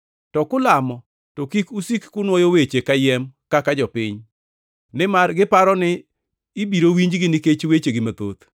To kulamo to kik usik kunuoyo weche kayiem kaka jopiny, nimar giparo ni ibiro winjgi nikech wechegi mathoth.